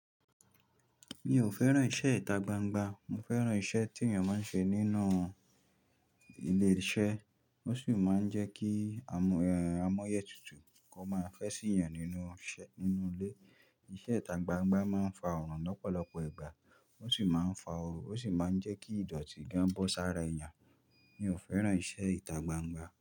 Mi ò fẹ́ràn iṣẹ́ ìta gbangba, mo fẹ́ràn iṣẹ́ tí ènìyàn máa ń ṣe nínú ilé iṣẹ́. Ó sì máa ń jẹ́ kí amọ́yẹ́ tutù kó máa fẹ́ sí yan nínú ise ninu ilé. Iṣẹ́ ìta gbangba máa ń fa ọ̀ràn lọ́pọ̀lọpọ̀ ìgbà, ó sì máa ń fa oó, ó sì máa ń jẹ́ kí ìdọ̀tí gan bọ́ sára èeyàn. Mi ò fẹ́ràn iṣẹ́ ìta gbangba.